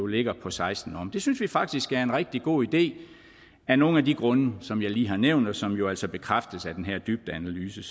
ligger på seksten år det synes vi faktisk er en rigtig god idé af nogle af de grunde som jeg lige har nævnt og som jo altså bekræftes af den her dybdeanalyse